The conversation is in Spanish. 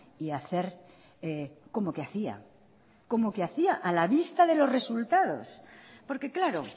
y hacer como que hacía como que hacía a la vista de los resultados porque claro